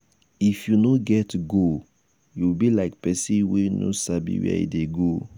if you no get goal you be like pesin wey no sabi where e dey go